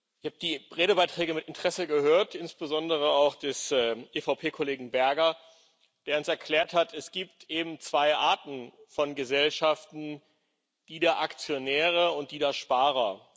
Ich habe die Redebeiträge mit Interesse gehört, insbesondere auch jenen des EVP Kollegen Berger, der uns erklärt hat Es gibt eben zwei Arten von Gesellschaften, die der Aktionäre und die der Sparer.